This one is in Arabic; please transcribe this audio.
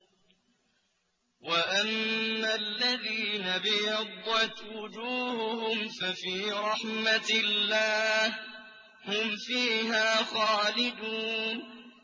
وَأَمَّا الَّذِينَ ابْيَضَّتْ وُجُوهُهُمْ فَفِي رَحْمَةِ اللَّهِ هُمْ فِيهَا خَالِدُونَ